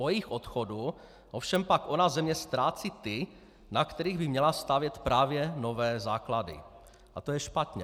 Po jejich odchodu ovšem pak ona země ztrácí ty, na kterých by měla stavět právě nové základy, a to je špatně.